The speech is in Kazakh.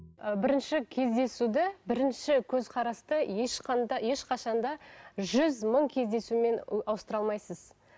ы бірінші кездесуді бірінші көзқарасты ешқашан да жүз мың кездесумен ауыстыра алмайсыз